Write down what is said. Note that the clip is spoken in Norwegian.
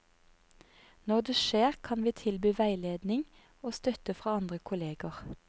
Når det skjer kan vi tilby veiledning og støtte fra andre kolleger.